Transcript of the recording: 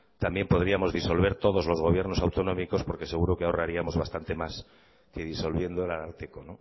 también podríamos disolver todos los gobiernos autonómicos porque seguro que ahorraríamos bastante más que disolviendo el ararteko